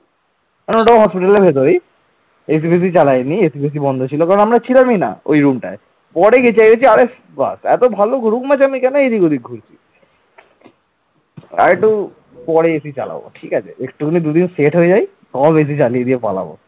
আরেকটু পরে AC চালাবো ঠিক আছে? একটুখানি দুদিন সেট হয়ে যায় সব AC চালিয়ে দিয়ে পালাবো